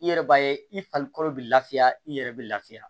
I yɛrɛ b'a ye i farikolo bɛ lafiya i yɛrɛ bɛ lafiya